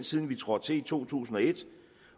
siden vi trådte til i to tusind og et